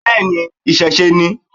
Bẹ́ẹ̀ni, ìṣẹ̀ṣẹ ni.